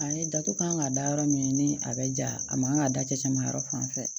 A ye dato kan ka da yɔrɔ min ni a bɛ ja a man ka da cɛ ma yɔrɔ fan fɛ